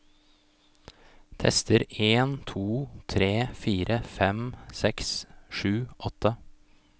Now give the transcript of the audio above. Tester en to tre fire fem seks sju åtte